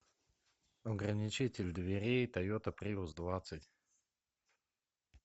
ограничитель дверей тойота приус двадцать